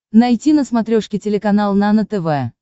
найти на смотрешке телеканал нано тв